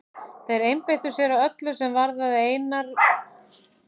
Þeir einbeittu sér að öllu er varðaði Einar og samskipti okkar.